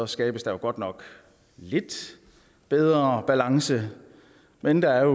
skabes der godt nok lidt bedre balance men der er